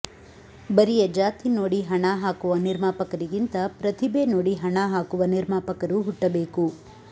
ಬರಿಯ ಜಾತಿ ನೋಡಿ ಹಣ ಹಾಕುವ ನಿರ್ಮಾಪಕರಿಗಿಂತ ಪ್ರತಿಭೆ ನೋಡಿ ಹಣ ಹಾಕುವ ನಿರ್ಮಾಪಕರು ಹುಟ್ಟಬೇಕು